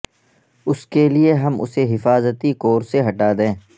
اس کے لئے ہم اسے حفاظتی کور سے ہٹا دیں